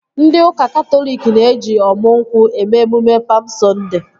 Ndị ụka Katọlik na-eji ọmu nkwụ eme emume Pam Sọnde